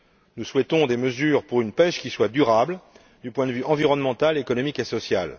Nous souhaitons des mesures pour une pêche qui soit durable du point de vue environnemental, économique et social.